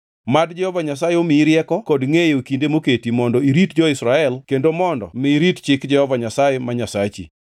Mad Jehova Nyasaye omiyi rieko kod ngʼeyo e kinde moketi mondo irit jo-Israel kendo mondo mi irit chik Jehova Nyasaye, ma Nyasachi.